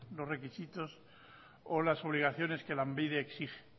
los requisitos o las obligaciones que lanbide exige